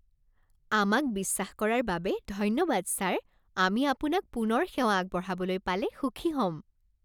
আমাক বিশ্বাস কৰাৰ বাবে ধন্যবাদ ছাৰ। আমি আপোনাক পুনৰ সেৱা আগবঢ়াবলৈ পালে সুখী হ'ম।